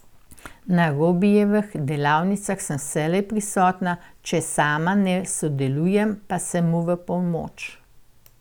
Na Robijevih delavnicah sem vselej prisotna, če sama ne sodelujem, pa sem mu v pomoč.